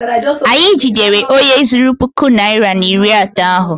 Anyị jidere onye zuru puku naịra na iri atọ ahụ.